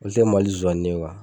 O tɛ Mali zonzanni